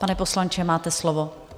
Pane poslanče, máte slovo.